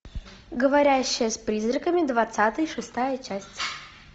говорящая с призраками двадцатая шестая часть